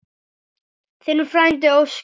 Þinn frændi Óskar.